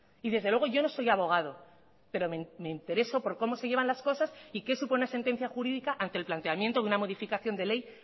y desde luego yo no soy abogado pero me intereso por cómo se llevan las cosas y qué supone sentencia jurídica ante el planteamiento de una modificación de ley